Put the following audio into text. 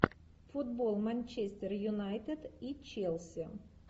футбол манчестер юнайтед и челси